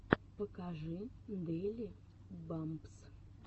покажи дэйли бампс